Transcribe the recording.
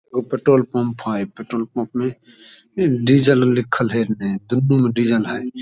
एगो petrol pump हेय petrol pump मे डिजल आर लिखल हेय डिजल हेय ।